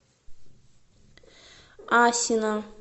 асино